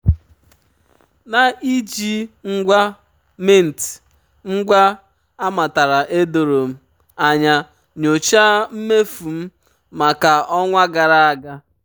na-iji ngwa um mint um ngwa um amatara edoro m anya nyochaa mmefu m maka ọnwa gara aga.